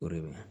O de bɛ